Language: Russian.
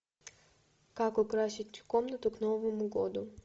как украсить комнату к новому году